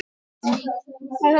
Hún vaktaði tölvuna og símann.